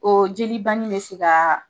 O jeli banni bɛ se ka